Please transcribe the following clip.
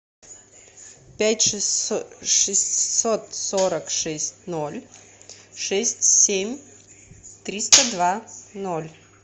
пять шестьсот сорок шесть ноль шесть семь триста два ноль